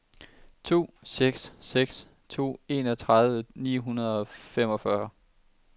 to seks seks to enogtredive ni hundrede og femogfyrre